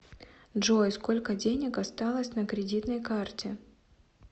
джой сколько денег осталось на кредитной карте